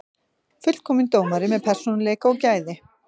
Fullkominn dómari með persónuleika og gæði.